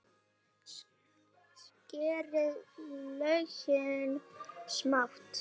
Skerið laukinn smátt.